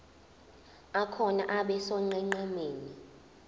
akhona abe sonqenqemeni